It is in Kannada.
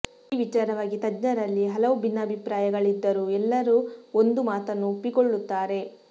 ಈ ವಿಚಾರವಾಗಿ ತಜ್ಞರಲ್ಲಿ ಹಲವು ಭಿನ್ನಾಭಿಪ್ರಾಯಗಳಿದ್ದರೂ ಎಲ್ಲರೂ ಒಂದು ಮಾತನ್ನು ಒಪ್ಪಿಕೊಳ್ಳುತ್ತಾರೆ